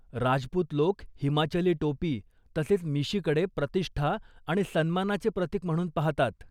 राजपूत लोक हिमाचली टोपी तसेच मिशीकडे प्रतिष्ठा आणि सन्मानाचे प्रतिक म्हणून पाहतात.